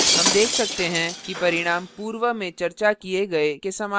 हम देख सकते हैं कि परिणाम पूर्व में चर्चा किए गए के समान है